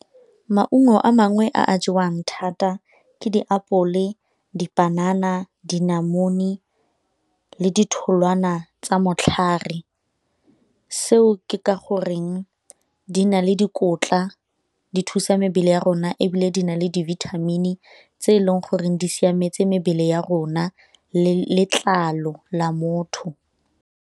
Maungo a mangwe a a jewang thata ke ditapole, dipanana, dinamune le ditholwana tsa matlhare. Seo ke ka gore reng di na le dikotla, di thusa mebele ya rona ebile di na le dibithamini tse e leng goreng di siametse mebele ya rona le letlalo la motho.